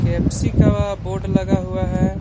के F C का board लगा हुआ है।